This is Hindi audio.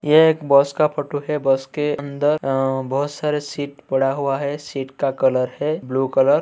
ये एक बस का फोटो है। बस के अंदर अ बहुत सारे सीट पड़ा हुआ है। सीट का कलर है ब्लू कलर ।